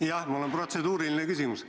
Jah, mul on protseduuriline küsimus.